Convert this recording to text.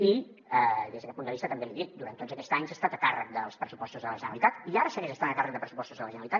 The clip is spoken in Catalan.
i des d’aquest punt de vista també l’hi dic durant tots aquests anys ha estat a càrrec dels pressupostos de la generalitat i ara segueix estant a càrrec de pressupostos de la generalitat